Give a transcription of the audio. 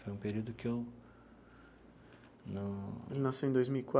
Foi um período em que eu não... Ele nasceu em dois mil e